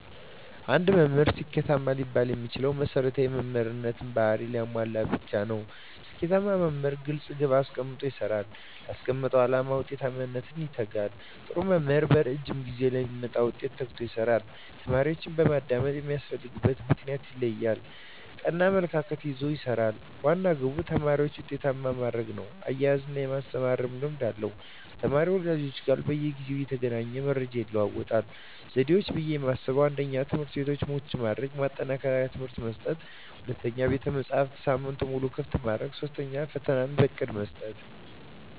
አንድ መምህር ስኬታማ ሊባል የሚችለው መሰረታዊ የመምህር ባህርያትን ሲያሟላ ብቻ ነው። ስኬታማ መምህር ግልፅ ግብ አስቀምጦ ይሰራል: ላስቀመጠው አላማ ውጤታማነት ይተጋል, ጥሩ መምህር በረዥም ጊዜ ለሚመጣ ውጤት ተግቶ ይሰራል። ተማሪዎችን በማዳመጥ የሚያስፈልግበትን ምክንያት ይለያል ,ቀና አመለካከት ይዞ ይሰራል, ዋና ግቡ ተማሪዎችን ውጤታማ ማድረግ ነው እያዝናና የማስተማር ልምድ አለው ከተማሪ ወላጆች ጋር በየጊዜው እየተገናኘ መረጃ ይለዋወጣል። ዘዴዎች ብዬ የማስበው 1ኛ, ትምህርትቤቶችን ምቹ በማድረግ ማጠናከሪያ ትምህርት መስጠት 2ኛ, ቤተመፅሀፍትን ሳምንቱን ሙሉ ክፍት ማድረግ 3ኛ, ፈተና በእቅድ መስጠት።